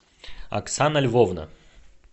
оксана львовна